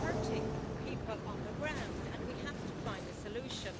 It's hurting people on the ground and we have to find a solution.